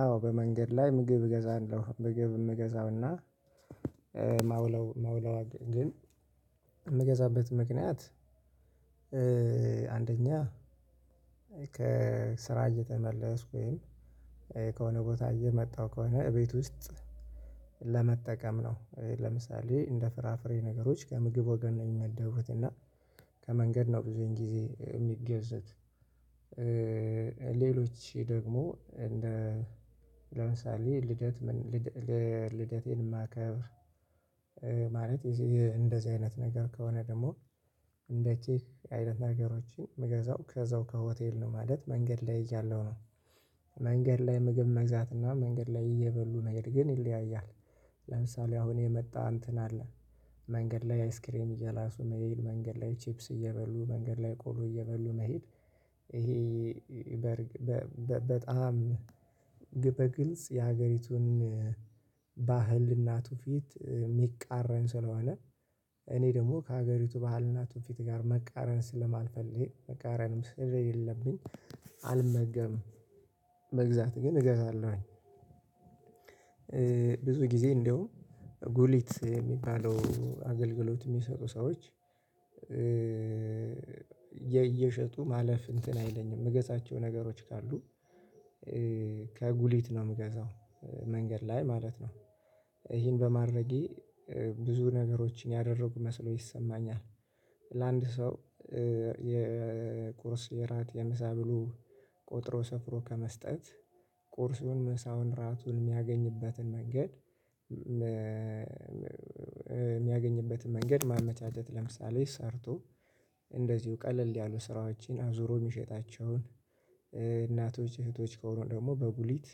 አዎ በመንገድ ላይ ምግብ እገዛለሁ ምግብ የምገዛውና የማውለው የማውለው ግን የምገዛበት ምክንያት አንደኛ ከስራ እየተመለስኩ ወይም ከሆነ ቦታ እየመጣሁ ከሆነ እቤት ውስጥ ለመጠቀም ነው። ለምሳሌ እንደ ፍራፍሬ ነገሮች ከምግብ ወገን የሚመደቡት እና ከመንገድ ነው ብዙን ጊዜ የሚገዙት ሌሎች ደግሞ እንደ ለምሳሌ ልደት ምን ል ልደቴን የማከብር ማለት የዚ እንደዚህ አይነት ነገር ከሆነ ደግሞ እንደዚህ አይነት ነገሮችን የምገዛው ከዛው ከሆቴል ነው ማለት መንገድ ላይ እያለሁ ነው መንገድ ላይ ምግብ መግዛት እና መንገድ ላይ እየበሉ መሄድ ግን ይለያያል። ለምሳሌ አሁን የመጣ እንትን አለ መንገድ ላይ አይስክሬም እየላሱ መሄድ መንገድ ላይ ቺፕስ እየበሉ መንገድ ላይ ቆሎ እየበሉ መሄድ ይሄ በርግ በበ በጣም ግበ በግልጽ የሀገሪቱን ባህል እና ተውፊት የሚቃረን ስለሆነ እኔ ደግሞ ከሀገሪቱ ባህልና ትውፊት ጋር መቃረን ስለማልፈልግ መቃረንም ስለ ሌለብኝ አልመገብም። መግዛት ግን እገዛለሁኝ። ብዙ ጊዜ እንደውም ጉሊት የሚባለው አገልግሎት የሚሰጡ ሰዎች እየሸጡ ማለፍ እንትን አይለኝም የምገዛቸው ነገሮች ካሉ ከጉሊት ነው የምገዛው መንገድ ላይ ማለት ነው። ይሄን በማድረጌ ብዙ ነገሮችን ያደረኩ መስሎ ይሰማኛል። ለአንድ ሰው የቁርስ የራት የምሳ ብሎ ቆጥሮ ሰፍሮ ከመስጠት ቁርሱን ምሳውን ራቱን የሚያገኝበትን መንገድ መንገድ ማመቻት ለምሳሌ ሰርቶ እንደዚሁ ቀለል ያሉ ስራዎችን አዙሮ የሚሸጣቸውን እናቶች እህቶች ከሆኑ ደግሞ በጉሊት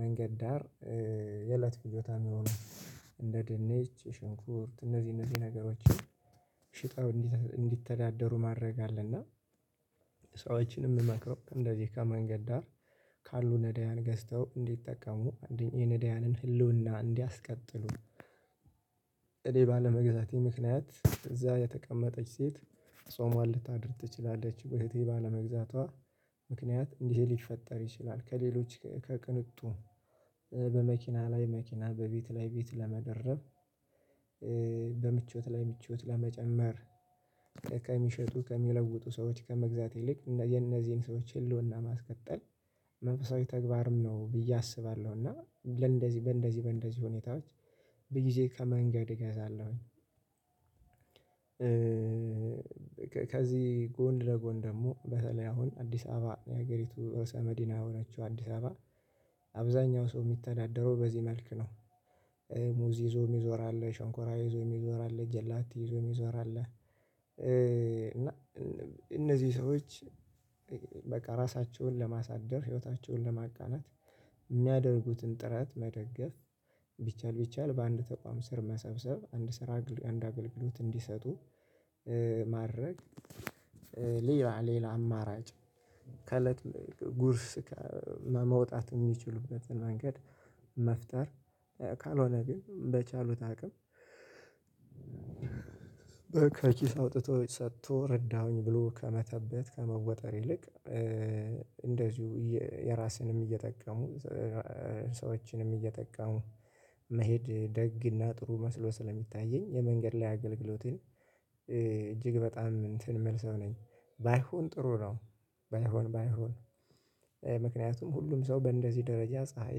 መንገድ ዳር የእለት ፍጆታ የሆኑ እንደ ድንች ሽንኩርት እነዚህ እነዚህ ነገሮችን ሽጠው እንዲተ እንዲተዳደሩ ማድረግ አለ። እና ሰዎችንም የምመክረው እንደዚህ ከመንገድ ዳር ካሉ ነዳያን ገዝተው እንዲጠቀሙ አንደኛ የነዳያንን ህልውና እንዲያስቀጥሉ እኔ ባለመግዛቴ ምክንያት እዛ የተቀመጠች ሴት ጾሟን ልታድር ትችላለች በእህቴ ባለመግዛቷ ምክንያት እንዲህ ሊፈጠር ይችላል። ከሌሎች ከቅንጡ በመኪና ላይ መኪና በቤት ላይ ቤት ለመደረብ በምቾት ላይ ምቾት ለመጨመር ከሚሸጡ ከሚለውጡ ሰዎች ከመግዛት ይልቅ እነ የነዚህን ሰዎች ህልውና ማስቀጠል መንፈሳዊ ተግባርም ነው ብዬ አስባለሁ። እና ለእንደዚህ በእንደዚህ በእንደዚህ ሁኔታዎች በጊዜ ከመንገድ እገዛለሁኝ። ከዚህ ጎን ለጎን ደግሞ በተለይ አሁን አዲስ አበባ የሀገሪቱ ርዕሰ መዲና የሆናችው አዲስ አበባ አብዛኛው ሰው የሚተዳደረው በዚህ መልክ ነው። ሙዝ ይዞ የሚዞር አለ ሸንኮራ ይዞ የሚዞር አለ ጀላቲ ይዞ የሚዞር አለ እና እነዚህ ሰዎች በቃ ራሳቸውን ለማሳደር ህይወታቸውን ለማቃናት የሚያደርጉትን ጥረት መደገፍ ቢቻል ቢቻል በአንድ ተቋም ስር መሰብሰብ አንድ ስራ አግ አንድ አገልግሎት እንዲሰጡ ማድረግ። ሌላ ሌላ አማራጭ ከእለት ጉርስ ከ መ መውጣት የሚችሉበትን መንገድ መፍጠር ካልሆነ ግን በቻሉት አቅም በ ኪስ አውጥቶ ሰጥቶ ረዳሁኝ ብሎ ከመተበት ከመወጠር ይልቅ እንደዚሁ የራስንም እየጠቀሙ ሰዎችንም እየጠቀሙ መሄድ ደግና ጥሩ መስሎ ስለሚታየኝ የመንገድ ላይ አገልግሎትን እጅግ በጣም እንትን የምልሰው ነኝ ባይሆን ጥሩ ነው። ባይሆን ባይሆን ምክንያቱም ሁሉም ሰው በእንደዚህ ደረጃ ፀሀይ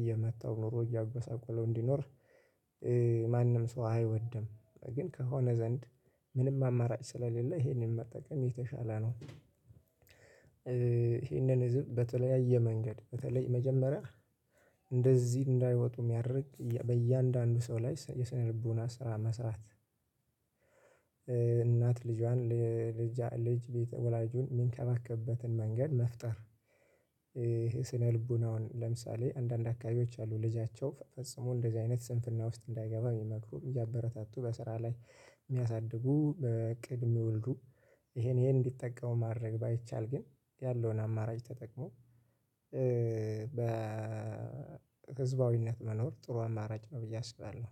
እየመትው ኑሮ እያጎሳቆለው እንዲኖር ማንም ሰው አይወድም። ግን ከሆነ ዘንድ ምንም አማራጭ ስለሌለ ይሄንን መጠቀም የተሻለ ነው። ይሄንን ህዝብ በተለያየ መንገድ በተለይ መጀመሪያ እንደዚህ እንዳይወጡ የሚያደርግ በእያንዳንዱ ሰው ላይ የስነ ልቦና ስራ መስራት እናት ልጇን ልጃ ልጅ ወላጁን የሚንከባከብበትን መንገድ መፍጠር ይሄ ስነልቡናውን ለምሳሌ አንዳንድ አካባቢዎች አሉ ልጃቸው ፈጽሞ እንደዚህ አይነት ስንፍና ውስጥ እንዳይገባ የሚመክሩ እያበረታቱ በስራ ላይ የሚያሳድጉ በእቅድ የሚወልዱ ይሄን ይሄን እንዲጠቀሙ ማድረግ ባይቻል ግን ያለውን አማራጭ ተጠቅሞ በህዝባዊነት መኖር ጥሩ አማራጭ ነው። ብዬ አስባለሁ